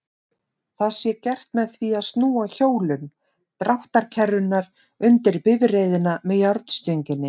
Það sé gert með því að snúa hjólum dráttarkerrunnar undir bifreiðina með járnstönginni.